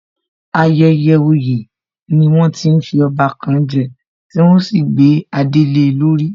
Ayẹyẹ oyè ni wọ́n ti ń fi ọba kan je, tí wọ́n ó sì gbé adé le lórí